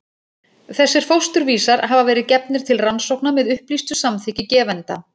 Þessir fósturvísar hafa verið gefnir til rannsókna með upplýstu samþykki gefenda.